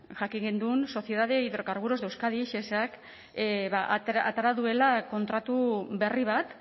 jakin genuen sociedad de hidrocarburos de euskadi shesak ba atera duela kontratu berri bat